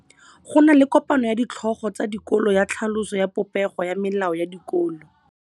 Go na le kopanô ya ditlhogo tsa dikolo ya tlhaloso ya popêgô ya melao ya dikolo.